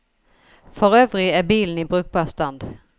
Forøvrig er bilen i brukbar stand.